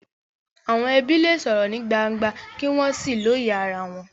Àwọn ẹbí lè sọ̀rọ̀ ní gbangba kí wọ́n sì lóye ara wọn.